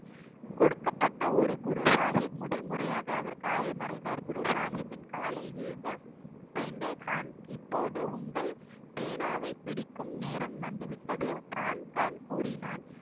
கொடுக்கப்பட்ட ஒரு குரு சாஹிப் முதல் முறையாக அவர் காயம் அடைந்தார் குரு சாஹிப்பின் காலில் விழுந்த பெண்டே கான் இப்பொது உங்கள் பேனாவை பிடிக்கும் நேரம் வந்து விட்டது கூறினான்